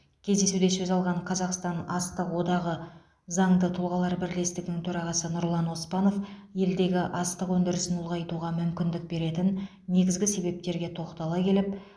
кездесуде сөз алған қазақстан астық одағы заңды тұлғалар бірлестігінің төрағасы нұрлан оспанов елдегі астық өндірісін ұлғайтуға мүмкіндік беретін негізгі себептерге тоқтала келіп